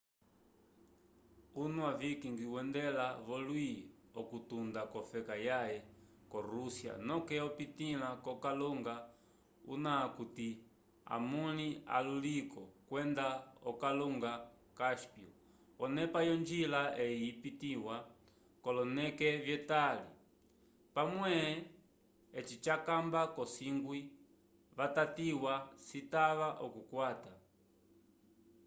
unwa vikings wendela volwi okutunda kofeka yaye ko rusya noke opitila kokalunga una akuti amunli aluliko kwenda kokalunga cáspyo onepa yongila eyi yipitiwa koloneke vyetali pamwe eci jakamba kasongwi vatatiwa citava okukwata